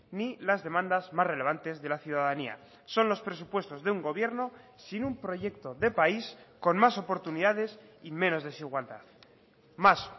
ni las demandas más relevantes de la ciudadanía son los presupuestos de un gobierno sin un proyecto de país con más oportunidades y menos desigualdad más